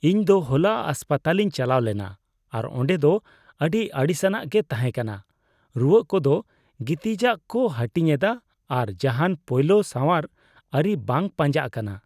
ᱤᱧ ᱫᱚ ᱦᱚᱞᱟ ᱦᱟᱥᱯᱟᱛᱟᱞᱤᱧ ᱪᱟᱞᱟᱣ ᱞᱮᱱᱟ ᱟᱨ ᱚᱸᱰᱮ ᱫᱚ ᱟᱹᱰᱤ ᱟᱹᱲᱤᱥᱼᱟᱱᱟᱜ ᱜᱮ ᱛᱟᱦᱮᱸᱠᱟᱱᱟ ᱾ ᱨᱩᱣᱟᱹᱜ ᱠᱚᱫᱚ ᱜᱤᱛᱤᱡᱼᱟᱜ ᱠᱚ ᱦᱟᱹᱴᱤᱧᱮᱫᱟ ᱟᱨ ᱡᱟᱦᱟᱱ ᱯᱳᱭᱞᱳ ᱥᱟᱸᱣᱟᱨ ᱟᱹᱨᱤ ᱵᱟᱝ ᱯᱟᱸᱡᱟᱜ ᱠᱟᱱᱟ ᱾